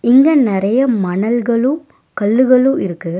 இங்க நெறைய மணல்களு கள்ளுகளு இருக்கு.